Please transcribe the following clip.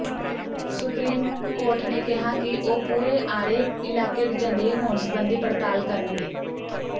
supreme court ਨੇ ਕਿਹਾ ਕਿ ਉਹ ਪੂਰੇ ਆਰੇ ਇਲਾਕੇ ਦੇ ਜੰਗਲੀ ਹੋਣ ਸਬੰਧੀ ਪੜਤਾਲ ਕਰਨਗੇ